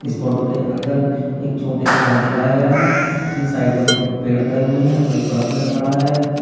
इस फोटो के अंदर एक छोटे सा घर दिखाया गया है जिसमें साइडों में कुछ पेड़ खड़े हुए हैं और एक बड़ा पेड़ खड़ा है।